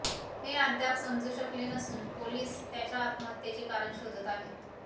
हे अद्याप समजू शकले नसून पोलीस त्याच्या आत्महत्येचे कारण शोधत आहेत